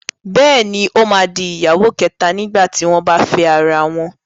Bẹ́ẹ̀ni, ó máa di ìyàwó kẹ̀ta nígbà tí wọ́n bá fẹ́ra wọn.